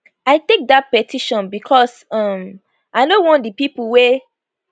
i take dat petition becos um i no want di pipo wey